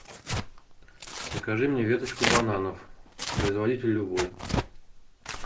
закажи мне веточку бананов производитель любой